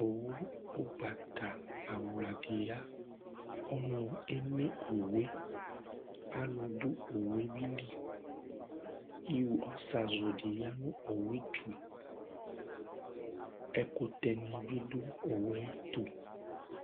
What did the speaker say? owu ugbata awla di ya ɔnu eme owu yɛ alò do owu yɛ li ɔzazu di ya no owu yɛ to ɛkutɛ ni bi do owu yɛ to